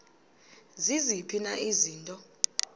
ziziphi na izinto